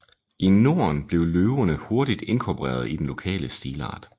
I Norden blev løverne hurtigt inkorporeret i den lokale stilart